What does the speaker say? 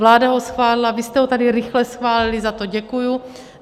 Vláda ho schválila, vy jste ho tady rychle schválili - za to děkuji.